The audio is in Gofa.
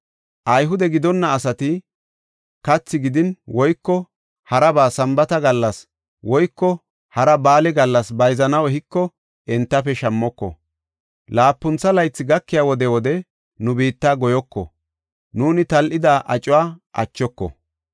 “Ayhude gidonna asati kathi gidin woyko haraba Sambaata gallas woyko hara ba7aale gallas bayzanaw ehiko entafe shammoko. Laapuntha laythi gakiya wode wode nu biitta goyoko; nuuni tal7ida acuwa achoko.